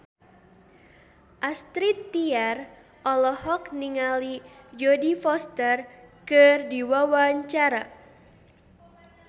Astrid Tiar olohok ningali Jodie Foster keur diwawancara